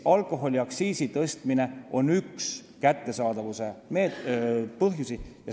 Alkoholiaktsiisi tõstmine on üks põhjusi, miks kättesaadavus väheneb.